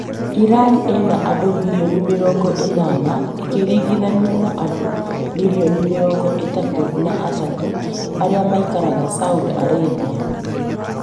Iran ĩna andũ mirioni mĩrongo ĩnana ĩkĩringithanio na andũ mirioni mĩrongo ĩtatũ na atatũ arĩa maikaraga Saudi Arabia